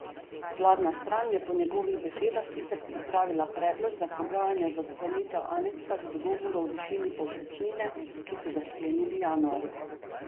Vladna stran je po njegovih besedah sicer pripravila predlog za pogajanja za sklenitev aneksa k dogovoru o višini povprečnine, ki so ga sklenili januarja.